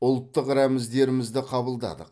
ұлттық рәміздерімізді қабылдадық